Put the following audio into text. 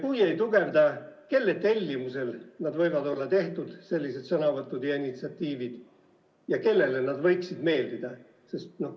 Ja kui ei tugevda, siis kelle tellimusel võivad sellised sõnavõtud ja initsiatiivid olla tehtud ja kellele need võiksid meeldida?